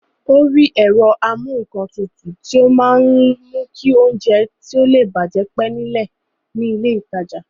Ó rí ẹ̀rọ amúǹkantutù tí ó máa ń mú kí oúnjẹ tí ó le bàjẹ́ pẹ́ ní ilé ìtajà